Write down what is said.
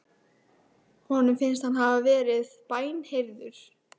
Honum finnst hann hafa verið bænheyrður.